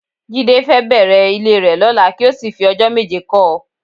Jídé fẹ́ bẹ̀rẹ̀ ilé rẹ lọ́la kí ó sì fi ọjọ́ méje kọ́ ọ